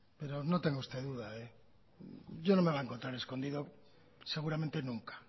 pero no tenga usted duda yo no me voy a encontrar escondido seguramente nunca